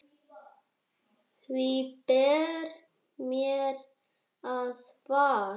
Því ber mér að svara.